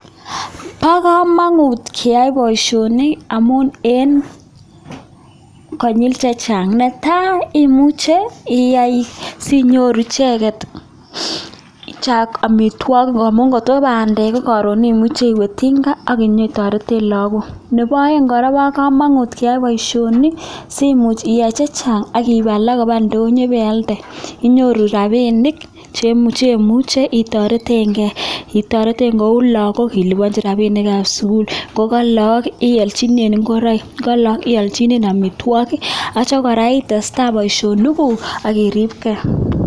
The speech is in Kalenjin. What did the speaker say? Bo kamanut keyai boisioni amun eng konyil chechang, ne tai, imuche iyai sinyoru icheket chak amitwok amun kot ko bandek ko karon imuchi iwe tinga akenye torete lakok. Nebo aeng kora, bo kamanut keyai boisioni simuch iyai chechang ak iip alak koba indonyo pealde inyoru rapinik chemuche itoretenkei, itorete kou lakokab sukul ilipanchi rapinikab sukul, ko alak ialchine ngoraik, ko alak ialchine amitwokik atya kora itestai boisionikuk ak kiripkei.